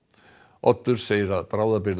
Oddur segir